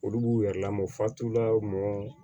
Olu b'u yɛrɛ lamɔ fatu la mɔgɔ